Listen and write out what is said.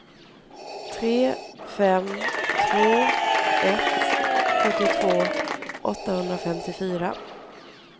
tre fem två ett sjuttiotvå åttahundrafemtiofyra